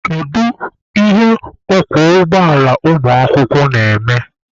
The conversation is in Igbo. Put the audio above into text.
Kedu ihe ọkwọ ụgbọala ụmụakwụkwọ na-eme?